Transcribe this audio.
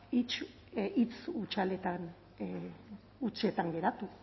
hitz hutsaletan hutsetan geratu